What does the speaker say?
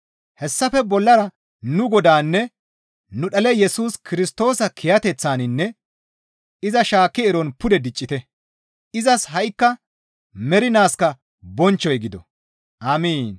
Hessafe bollara nu Godaanne nu dhale Yesus Kirstoosa kiyateththaninne iza shaakki eron pude diccite; izas ha7ikka mernaaskka bonchchoy gido. Amiin.